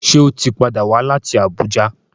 Ṣe o tí pàdà wá láti Abuja?